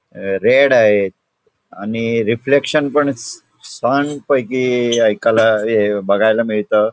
अ red आहे आणि reflection पण शान पैकी ऐकायला हे बघायला मिळतं.